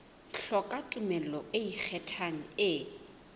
hloka tumello e ikgethang e